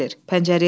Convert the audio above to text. Tərini silir.